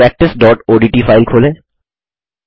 practiceओडीटी file खोलें